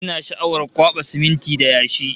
Ina sha'awar kwaɓa siminti da yashi